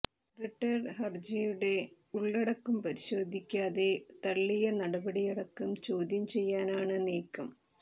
writ ഹരജിയുടെ ഉള്ളടക്കം പരിശോധിക്കാതെ തള്ളിയ നടപടിയടക്കം ചോദ്യം ചെയ്യാനാണ് നീക്കം